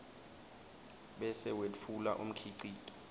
bese wetfula umkhicito